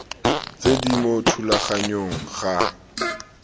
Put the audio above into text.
tse di mo thulaganyong ga